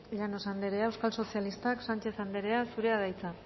llanos andrea euskal sozialistak sánchez andrea zurea da hitza